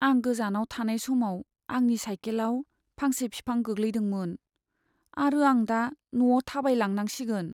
आं गोजानाव थानाय समाव आंनि साइकेलाव फांसे बिफां गोग्लैदोंमोन, आरो आं दा न'आव थाबायलांनांसिगोन।